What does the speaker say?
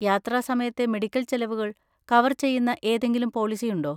യാത്രാ സമയത്തെ മെഡിക്കൽ ചെലവുകൾ കവർ ചെയ്യുന്ന ഏതെങ്കിലും പോളിസിയുണ്ടോ?